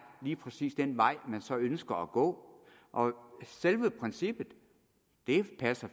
lige præcis den vej man så ønsker at gå selve princippet passer